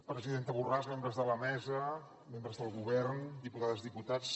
presidenta borràs membres de la mesa membres del govern diputades diputats